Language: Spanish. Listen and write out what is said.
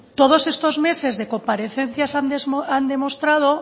todos estos meses de comparecencias han demostrado